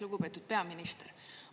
Lugupeetud peaminister!